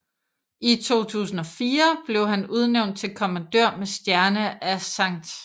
I 2004 blev han udnævnt til kommandør med stjerne af St